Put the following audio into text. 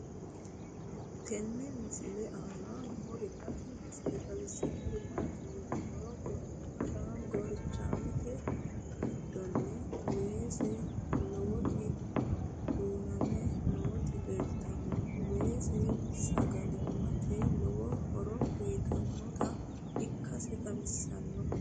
tenne misile aana noorina tini misile xawissannori maati yinummoro gorichaammete giddonni weesse lowotti duunnamme nootti leelittanno weesse sagalimmatte lowo horo uyiittannotta ikkasse xawissanno